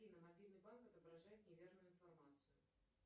афина мобильный банк отображает неверную информацию